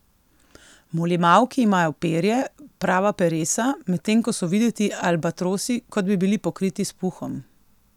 Molimauki imajo perje, prava peresa, medtem ko so videti albatrosi, kot bi bili pokriti s puhom.